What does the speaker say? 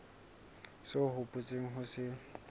seo o hopotseng ho se